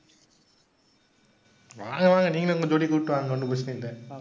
வாங்க, வாங்க. நீங்களும் உங்க ஜோடிய கூட்டிட்டு வாங்க, ஒண்ணும் பிரச்சனை இல்ல.